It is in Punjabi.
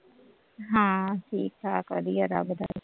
ਹਾਂ ਠੀਕ ਠਾਕ ਵਧੀਆ ਲੱਗਦਾ